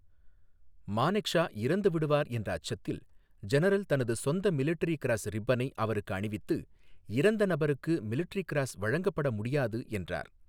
மானெக்ஷா இறந்து விடுவார் என்ற அச்சத்தில், ஜெனரல் தனது சொந்த மிலிட்டரி கிராஸ் ரிப்பனை அவருக்கு அணிவித்து, இறந்த நபருக்கு மிலிட்டரி கிராஸ் வழங்கப்பட முடியாது என்றார்.